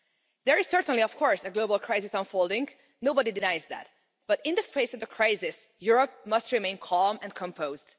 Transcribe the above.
There is certainly of course a global crisis unfolding, nobody denies that, but in the face of the crisis, Europe must remain calm and composed.